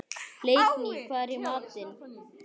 Leikný, hvað er í matinn?